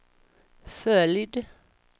följd